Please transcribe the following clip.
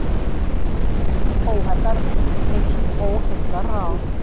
Það hafði reynst óheillaráð.